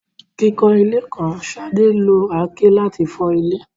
Kíkọ́ ilé kan, Sade lo àáké láti fọ́ ilẹ̀.